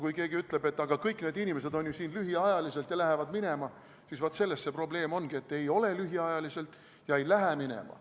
Kui keegi ütleb, et aga kõik need inimesed on ju siin lühiajaliselt ja lähevad minema, siis vaat selles see probleem ongi, et ei ole lühiajaliselt ega lähe minema.